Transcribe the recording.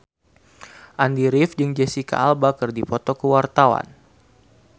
Andy rif jeung Jesicca Alba keur dipoto ku wartawan